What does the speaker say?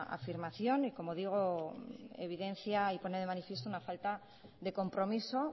afirmación y como digo evidencia y pone de manifiesto una falta de compromiso